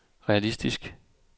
realistisk